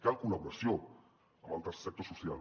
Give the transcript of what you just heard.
cal col·laboració amb el tercer sector social